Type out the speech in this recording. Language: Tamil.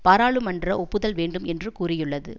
பாராளுமன்ற ஒப்புதல் வேண்டும் என்றும் கூரியுள்ளது